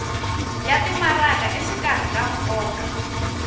ya timaraka exikarhi ka nkoka